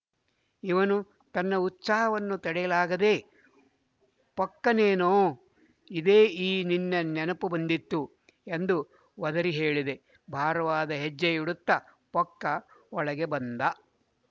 ಇವನು ತನ್ನ ಉತ್ಸಾಹವನ್ನು ತಡೆಯಲಾಗದೇ ಪೊಕ್ಕನೇನೋ ಇದೇ ಈ ನಿನ್ನ ನೆನಪು ಬಂದಿತ್ತು ಎಂದು ಒದರಿ ಹೇಳಿದ ಭಾರವಾದ ಹೆಜ್ಜೆ ಇಡುತ್ತ ಪೊಕ್ಕ ಒಳಗೆ ಬಂದ